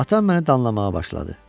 Atam məni danlamağa başladı.